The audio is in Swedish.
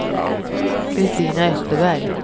Christina Österberg